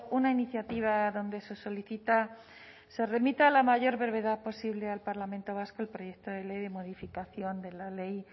una iniciativa donde se solicita se remite a la mayor brevedad posible al parlamento vasco el proyecto de ley de modificación de la ley